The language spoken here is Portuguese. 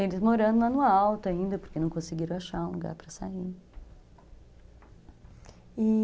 Eles morando lá no alto ainda, porque não conseguiram achar um lugar para sair, e